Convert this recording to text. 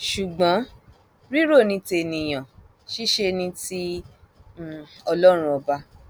ṣùgbọn rírọ ní tènìyàn ṣiṣẹ ní ti um ọlọrun ọba